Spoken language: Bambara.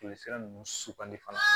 Joli sira ninnu sukanti fana